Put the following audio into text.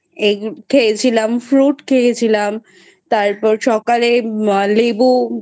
খেয়েছিলাম.Fruit খেয়েছিলাম তারপর সকালে লেবু